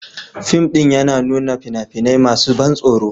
Fim ɗin yana nuna fina-finai masu ban tsoro